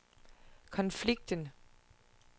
konflikten